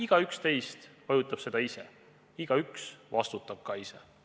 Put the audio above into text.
Igaüks teist vajutab seda nuppu ise ja igaüks ka vastutab ise.